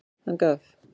Hann gaf.